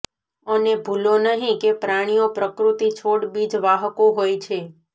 અને ભૂલો નહીં કે પ્રાણીઓ પ્રકૃતિ છોડ બીજ વાહકો હોય છે